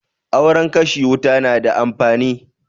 Auren kashe wuta na da amfani